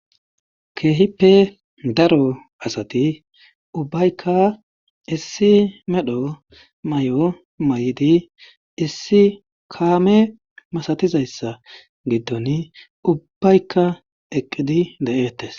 Keehippe daro asati ubbayka issi medho mayo mayidi issi kaame masatizayssa giddoni ubbayka eqqidi de7eettees.